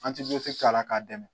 An ti k'a la k'a dɛmɛ